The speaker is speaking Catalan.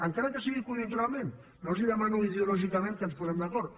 encara que sigui conjunturalment no els demano ideològicament que ens posem d’acord